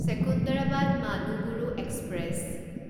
Secunderabad Manuguru express